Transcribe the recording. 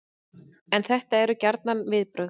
En þetta eru gjarnan viðbrögð